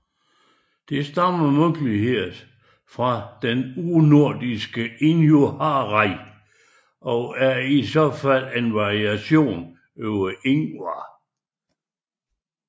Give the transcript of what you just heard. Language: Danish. Det stammer muligvis fra det urnordiske InhuharjaR og er i så fald en variation over Ingvar